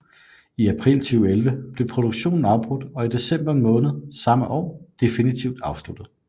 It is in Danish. I april 2011 blev produktionen afbrudt og i december måned samme år definitivt afsluttet